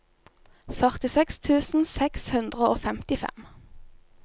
førtiseks tusen seks hundre og femtifem